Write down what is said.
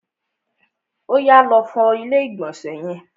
Oyà, lọ fọ ilé ìgbọ̀nsẹ̀ yẹn!